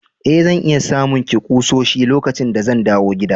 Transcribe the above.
Eh, zan iya samun ki kusoshi lokacin da zan dawo gida.